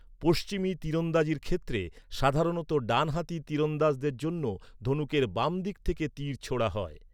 পশ্চিমী তীরন্দাজির ক্ষেত্রে সাধারণত ডান হাতি তীরন্দাজদের জন্য ধনুকের বাম দিক থেকে তীর ছোঁড়া হয়।